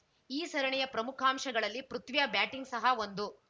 ಈ ಸರಣಿಯ ಪ್ರಮುಖಾಂಶಗಳಲ್ಲಿ ಪೃಥ್ವಿಯ ಬ್ಯಾಟಿಂಗ್‌ ಸಹ ಒಂದು